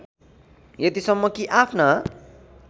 यतिसम्म कि आफ्ना